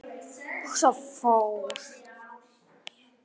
Og svo fór.